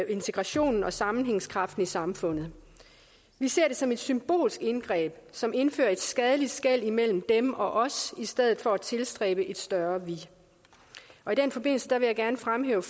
integrationen og sammenhængskraften i samfundet vi ser det som et symbolsk indgreb som indfører et skadeligt skel imellem dem og os i stedet for at tilstræbe et større vi og i den forbindelse vil jeg gerne fremhæve